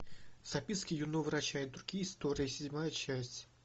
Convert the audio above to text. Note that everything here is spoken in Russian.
записки юного врача и другие истории седьмая часть